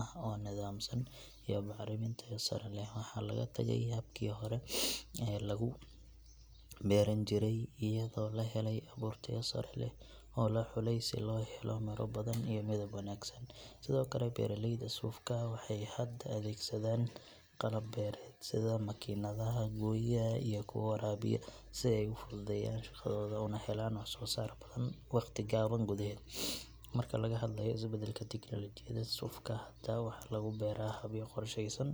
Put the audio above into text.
ah oo nidaamsan iyo bacrimin tayo sare leh. Waxaa laga tagay habkii hore ee lagu beeran jiray iyadoo la helay abuur tayo sare leh oo la xulay si loo helo miro badan iyo midab wanaagsan. Sidoo kale, beeraleyda sufka waxay hadda adeegsadaan qalab beereed sida makiinadaha gooya iyo kuwa waraabiya si ay u fududeeyaan shaqadooda una helaan wax soo saar badan waqti gaaban gudaheed. Marka laga hadlayo isbeddelka tiknoolajiyada, sufka hadda waxaa lagu beeraa habyo qorshaysan